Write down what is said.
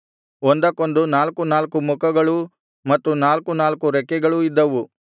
ಒಂದೊಂದಕ್ಕೆ ನಾಲ್ಕು ನಾಲ್ಕು ಮುಖಗಳೂ ಮತ್ತು ನಾಲ್ಕು ನಾಲ್ಕು ರೆಕ್ಕೆಗಳೂ ಇದ್ದವು